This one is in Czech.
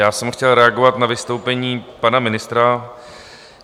Já jsem chtěl reagovat na vystoupení pana ministra.